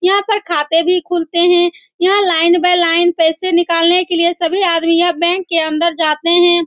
यहां पर खाते भी खुलते हैं यहां लाइन बाई लाइन पैसे निकालने के लिए सभी आदमी यह बैंक के अंदर जाते हैं।